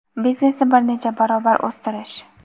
Biznesni bir necha barobar o‘stirish.